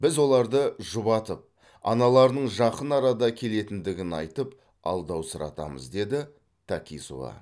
біз оларды жұбатып аналарының жақын арада келетіндігін айтып алдаусыратамыз деді такисова